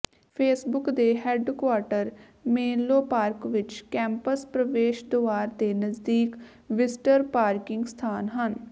Facebook ਦੇ headquarter Menlo Park ਵਿੱਚ campus ਪ੍ਰਵੇਸ਼ ਦੁਆਰ ਦੇ ਨਜ਼ਦੀਕ ਵਿਜ਼ਟਰ ਪਾਰਕਿੰਗ ਸਥਾਨ ਹਨ